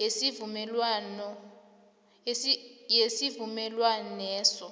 yesivumelwaneso